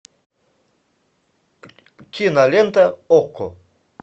кинолента окко